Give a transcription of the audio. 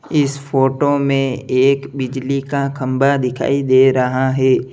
इस फोटो में एक बिजली का खंबा दिखाई दे रहा है।